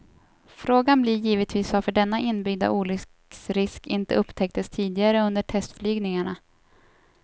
Frågan blir givetvis varför denna inbyggda olycksrisk inte upptäcktes tidigare under testflygningarna.